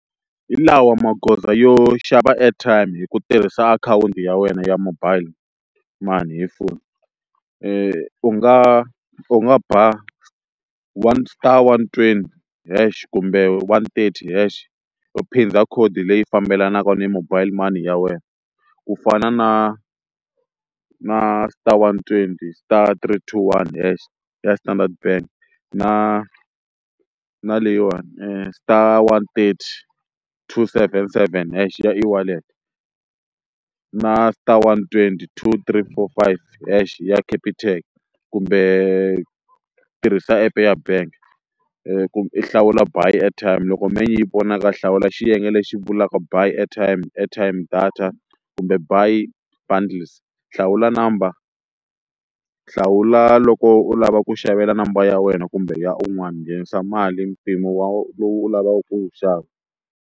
Hi lawa magoza yo xava airtime hi ku tirhisa akhawunti ya wena ya mobile money hi foni u nga u nga ba one star one twenty then hash kumbe one thirty hash u phinda code leyi fambelanaka ni mobile money ya wena ku fana na na star one twenty star three two one hash ya Standard bank, na na leyiwani star one thirty two seven seven hash ya e-wallet, na star one twenty two three four five hash ya Capitec kumbe tirhisa app ya bank i hlawula buy airtime loko menu yi vonaka a hlawula xiyenge lexi vulaka by airtime airtime data kumbe buy bundles, hlawula number hlawula loko u lava ku xavela number ya wena kumbe ya un'wana nghenisa mali mpimo wa lowu u lavaka ku wu xava.